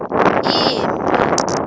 yimphi